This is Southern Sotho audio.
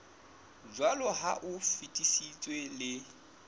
jwaloka ha o fetisitswe le